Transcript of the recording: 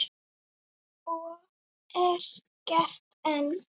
Og er gert enn.